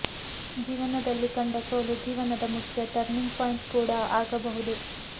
ಜೀವನದಲ್ಲಿ ಕಂಡ ಸೋಲು ಜೀವನದ ಮುಖ್ಯ ಟರ್ನಿಂಗ್ ಪಾಯಿಂಟ್ ಕೂಡ ಆಗಬಹುದು